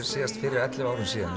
síðast fyrir ellefu árum síðan